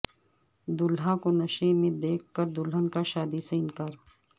دولہا کو نشے میں دیکھ کر دلہن کا شادی سے انکار